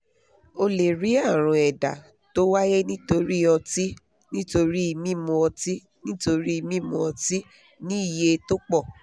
o lè rí àrùn ẹ̀dá tó wáyé nítorí ọtí nítorí mímu ọtí nítorí mímu ọtí ní iye tó pọ̀